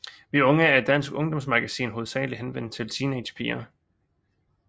Vi Unge er et dansk ungdomsmagasin hovedsageligt henvendt til teenagepiger